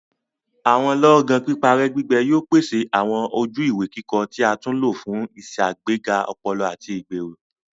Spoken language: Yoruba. Awọn lọọgan piparẹ-gbigbẹ yóò pèsè awọn ojú-ìwé kíkọ tí a tún lo fún iṣagbega ọpọlọ ati igbero.